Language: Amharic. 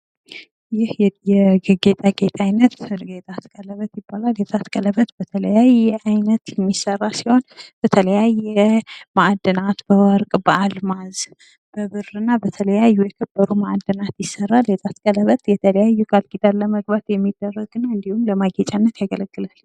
ይህ የጌጣጌት አይነት ይጣት ቀለበት የሚባል ሲሆን፤ የጣት ቀለበት በተለያየ አይነት የሚሰራ ነው። በተለያየ ማእድናት ማለትም በወርቅ፣ በአልማዝ ፣ በብርና በሌሎችም የሚሰራ ሲሆን፤ የጣት ቀለበት የተለያዩ ቃልኪዳኖችን ለመግባትና ለማጌጫነት ያገለግላል።